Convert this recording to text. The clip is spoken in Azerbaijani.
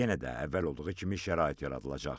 Yenə də əvvəl olduğu kimi şərait yaradılacaq.